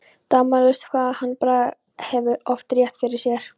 Dæmalaust hvað hann Bragi hefur oft rétt fyrir sér.